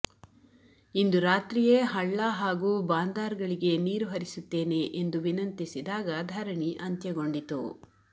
ಇಂದು ರಾತ್ರಿಯೇ ಹಳ್ಳ ಹಾಗೂ ಬಾಂದಾರ್ಗಳಿಗೆ ನೀರು ಹರಿಸುತ್ತೇನೆ ಎಂದು ವಿನಂತಿಸಿದಾಗ ಧರಣಿ ಅಂತ್ಯಗೊಂಡಿತು